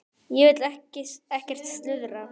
Ég vil ekkert slúður.